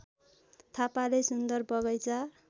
थापाले सुन्दर बगैँचा